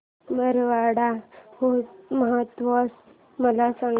मारवाड महोत्सव मला सांग